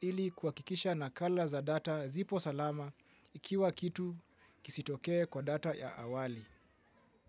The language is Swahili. ili kuhakikisha nakala za data zipo salama ikiwa kitu kisitokee kwa data ya awali.